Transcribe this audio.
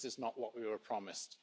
this is not what we were promised,